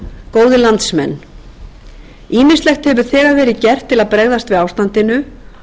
góðir landsmenn ýmislegt hefur þegar verið gert til að bregðast við ástandinu